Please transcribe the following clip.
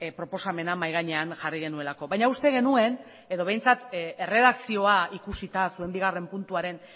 proposamena mahai gainean jarri genuelako baina uste genuen edo behintzat erredakzioa ikusita zuen bigarren puntuaren